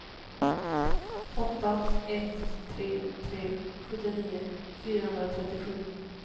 åtta ett tre tre sjuttionio fyrahundratrettiosju